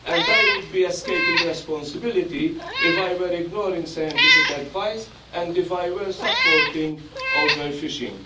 of the stocks. I would be escaping responsibility if I were ignoring scientific advice and if I were supporting